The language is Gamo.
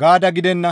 gaada gidenna.